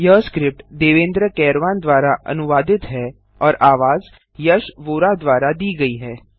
यह स्क्रिप्ट देवेन्द्र कैरवान द्वारा अनुवादित है और आवाजद्वारा दी गई है